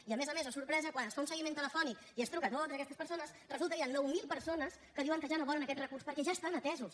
i a més a més oh sorpresa quan es fa un seguiment telefònic i es truca a totes aquestes persones resulta que hi han nou mil persones que diuen que ja no volen aquest recurs perquè ja estan atesos